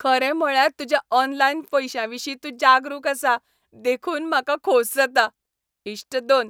खरें म्हळ्यार तुज्या ऑनलायन पैशांविशीं तूं जागरूक आसा देखून म्हाका खोस जाता . इश्ट दोन